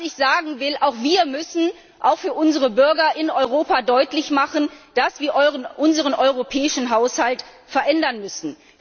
Was ich sagen will Auch wir müssen für unsere Bürger in Europa deutlich machen, dass wir unseren europäischen Haushalt verändern müssen.